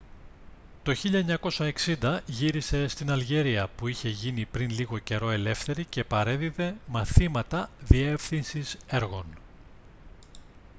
το 1960 γύρισε στην αλγερία που είχε γίνει πριν λίγο καιρό ελεύθερη και παρέδιδε μαθήματα διεύθυνσης έργων